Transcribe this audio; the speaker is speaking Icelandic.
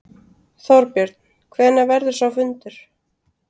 Þorbjörn: Hvenær verður sá fundur?